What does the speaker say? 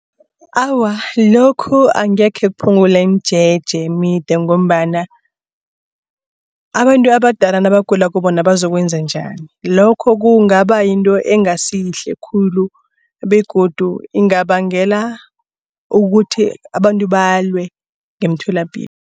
Awa, lokhu angekhe kuphungule imijeje emide ngombana abantu abadala nabagulako bona bazokwenza njani. Lokho kungaba yinto engasiyihle khulu begodu ingabangela ukuthi abantu balwe ngemtholapilo.